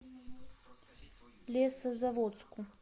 лесозаводску